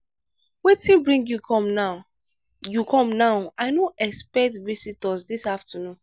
wetin bring you come now? you come now? i no expect visitors this afternoon.